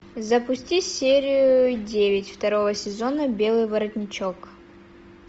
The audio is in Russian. запусти серию девять второго сезона белый воротничок